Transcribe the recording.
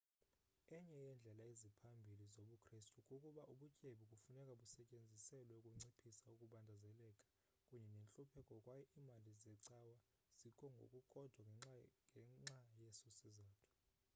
enye yeendlela eziphambili zobukristu kukuba ubutyebi kufuneka busetyenziselwe ukunciphisa ukubandezeleka kunye nentlupheko kwaye iimali zecawa zikho ngokukodwa ngenxa yeso sizathu